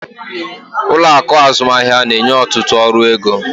Ụlọ akụ azụmaahịa na-enye ọtụtụ ọrụ ego.